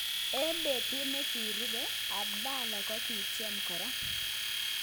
Eng petut ne kirupe, Abdulla kokityem kora.